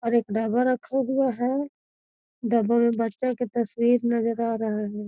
और एक डब्बा रखा हुआ है डब्बा में बच्चा के तस्वीर नजर आ रहा है।